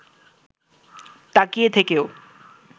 তাকিয়ে থেকেও